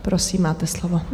Prosím, máte slovo.